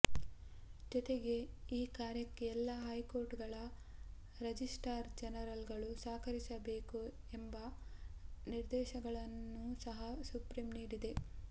ಜೊತೆಗೆ ಈ ಕಾರ್ಯಕ್ಕೆ ಎಲ್ಲ ಹೈಕೋರ್ಟ್ ಗಳ ರಜಿಸ್ಟ್ರಾರ್ ಜನರಲ್ ಗಳು ಸಹಕರಿಸಬೇಕು ಎಂಬ ನಿರ್ದೇಶನಗಳನ್ನೂ ಸಹ ಸುಪ್ರೀಂ ನೀಡಿದೆ